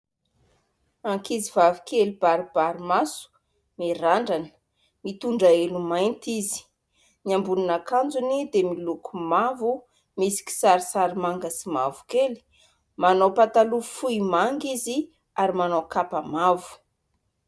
Ankizivavy kely baribary maso mirandrana, mitondra elo mainty izy. Ny ambonin'akanjony dia miloko mavo misy kisarisary manga sy mavokely. Manao pataloha fohy manga izy ary manao kapa mavo